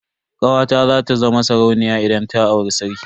Kawata za ta zama sarauniya idan ta auri sarki.